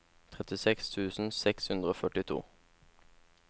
trettiseks tusen seks hundre og førtito